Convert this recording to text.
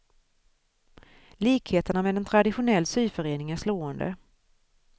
Likheterna med en traditionell syförening är slående.